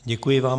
Děkuji vám.